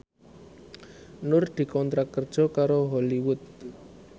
Nur dikontrak kerja karo Hollywood